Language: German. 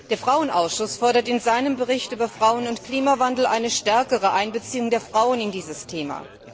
Der Frauenausschuss fordert in seinem Bericht über Frauen und Klimawandel eine stärkere Einbeziehung der Frauen in dieses Thema.